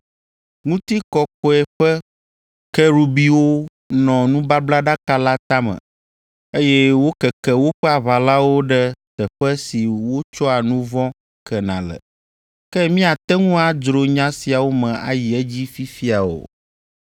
Ŋutikɔkɔkɔe ƒe Kerubiwo nɔ nubablaɖaka la tame, eye wokeke woƒe aʋalawo ɖe teƒe si wotsɔa nu vɔ̃ kena le. Ke míate ŋu adzro nya siawo me ayi edzi fifia o.